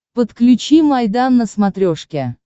подключи майдан на смотрешке